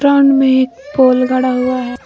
Ground में एक pole गड़ा हुआ है।